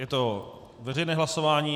Je to veřejné hlasování.